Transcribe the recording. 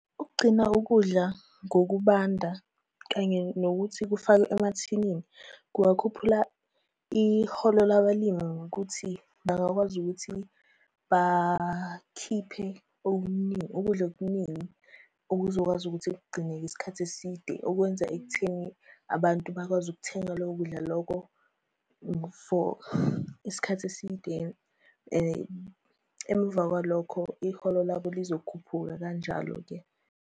Ukugcina ukudla ngokubanda, kanye nokuthi kufakwe emathinini, kungakhuphula iholo labalimi ngokuthi bangakwazi ukuthi bakhiphe okuningi, ukudla okuningi okuzokwazi ukuthi kugcineke isikhathi eside ukwenza ekutheni abantu bakwazi ukuthenga loko kudla lokho for isikhathi eside. Emva kwalokho iholo labo lizokhuphuka kanjalo-ke.